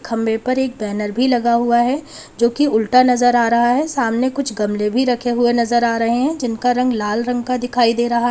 खंभे पर एक बैनर भी लगा हुआ है जो की उल्टा नजर आ रहा है सामने कुछ गमले भी रखे हुए नजर आ रहे हैं जिनका रंग लाल रंग का दिखाई दे रहा है।